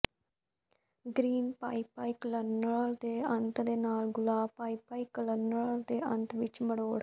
green pipe cleaner ਦੇ ਅੰਤ ਦੇ ਨਾਲ ਗੁਲਾਬ ਪਾਈਪਾਈਕਲਨਰ ਦੇ ਅੰਤ ਵਿੱਚ ਮਰੋੜ